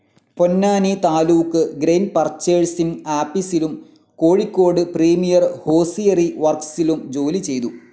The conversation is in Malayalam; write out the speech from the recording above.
പൊന്നാനി താലൂക്ക് ഗ്രെയ്ൻ പർച്ചേസിംഗ്‌ ആപീസിലും കൊഴിക്കോട് പ്രീമിയർ ഹോസിയറി വർക്സിലും ജോലിചെയ്തു.